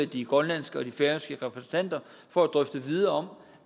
de grønlandske og de færøske repræsentanter for at drøfte videre om